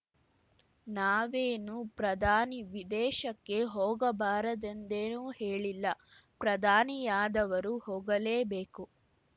ನಾವೇನೂ ಪ್ರಧಾನಿ ವಿದೇಶಕ್ಕೆ ಹೋಗಬಾರದೆಂದೇನೂ ಹೇಳಿಲ್ಲ ಪ್ರಧಾನಿಯಾದವರು ಹೋಗಲೇಬೇಕು